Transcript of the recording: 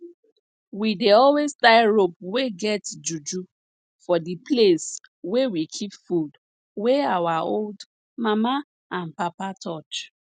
we dey always tie rope wey get juju for di place wey we keep food wey our old mama and papa touch